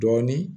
Dɔɔnin